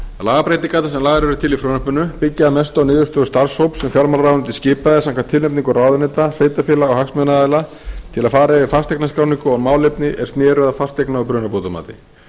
lagabreytingarnar sem lagðar eru til í frumvarpinu byggja að mestu á niðurstöðu starfshóps sem fjármálaráðuneytið skipaði samkvæmt tilnefningu ráðuneyta sveitarfélaga og hagsmunaaðila til að fara yfir fasteignaskráningu og málefni er sneru að fasteigna og brunabótamati